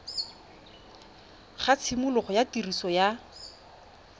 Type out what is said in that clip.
ga tshimologo ya tiriso ya